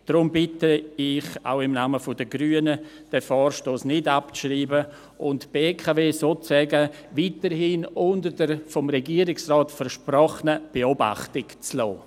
Deshalb bitte ich, auch im Namen der Grünen, darum, den Vorstoss nicht abzuschreiben und die BKW sozusagen weiterhin unter der vom Regierungsrat versprochenen Beobachtung zu lassen.